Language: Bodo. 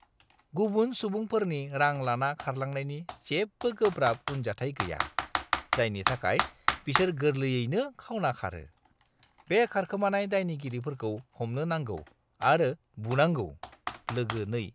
गुबुन सुबुंफोरनि रां लाना खारलांनायनि जेबो गोब्राब उनजाथाय गैया, जायनि थाखाय बिसोर गोरलैयैनो खावना खारो। बे खारखोमानाय दायगिरिफोरखौ हमनो नांगौ आरो बुनांगौ। (लोगो 2)